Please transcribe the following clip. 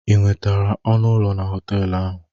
Ị nwetara ọnụ ụlọ na họtelụ ahụ?